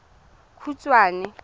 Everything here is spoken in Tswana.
khukhwane